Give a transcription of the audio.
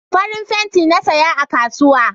Farin fenti na saya a kasuwa